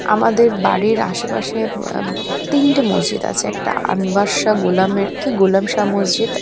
আমাদের বাড়ির আশেপাশে আব তিনটে মসজিদ আছে। একটা আনভার শাহ গোলামের কি গোলামশাহ মসজিদ।